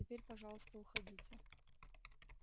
теперь пожалуйста уходите